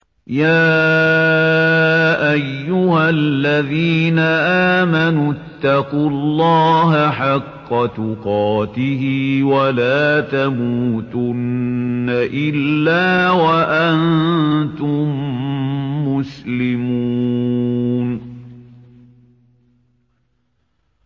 يَا أَيُّهَا الَّذِينَ آمَنُوا اتَّقُوا اللَّهَ حَقَّ تُقَاتِهِ وَلَا تَمُوتُنَّ إِلَّا وَأَنتُم مُّسْلِمُونَ